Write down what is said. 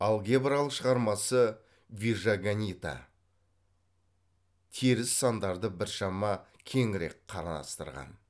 алгебралық шығармасы вижаганита теріс сандарды біршама кеңірек қарастырған